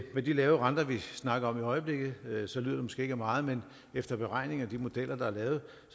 med de lave renter vi snakker om i øjeblikket lyder det måske ikke af meget men efter beregning af de modeller der er lavet